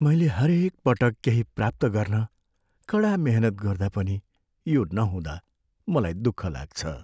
मैले हरेक पटक केहि प्राप्त गर्न कडा मेहनत गर्दा पनि यो नहुँदा मलाई दुःख लाग्छ।